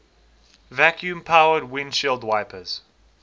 vacuum powered windshield wipers